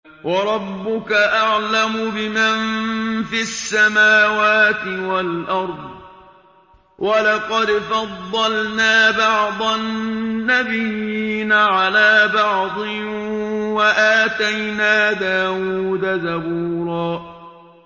وَرَبُّكَ أَعْلَمُ بِمَن فِي السَّمَاوَاتِ وَالْأَرْضِ ۗ وَلَقَدْ فَضَّلْنَا بَعْضَ النَّبِيِّينَ عَلَىٰ بَعْضٍ ۖ وَآتَيْنَا دَاوُودَ زَبُورًا